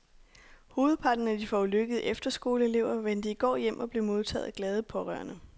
Hovedparten af de forulykkede efterskoleelever vendte i går hjem og blev modtaget af glade pårørende.